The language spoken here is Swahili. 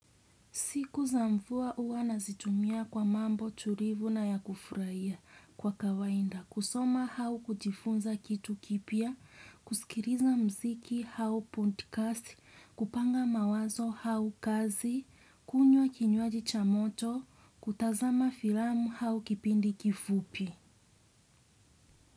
Siku za mvua huwa na zitumia kwa mambo tulivu na ya kufurahia kwa kawainda. Kusoma hau kujifunza kitu kipya, kusikiriza mziki hau podcast, kupanga mawazo hau kazi, kunywa kinywaji cha moto, kutazama filamu hau kipindi kifupi.